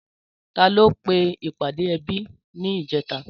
Tàló pé ipàdé èbí nijètá?